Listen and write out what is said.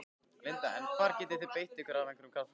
Linda: En hvar getið þið beitt ykkur af einhverjum krafti?